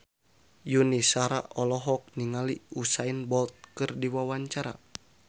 Yuni Shara olohok ningali Usain Bolt keur diwawancara